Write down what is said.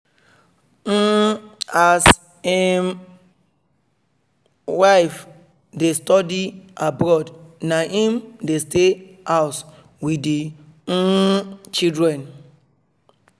um as um im wife dey study abroad na im dey stay house with the um children